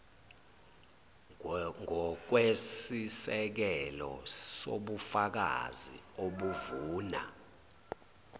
ngokwesisekelo sobufakazi obuvuna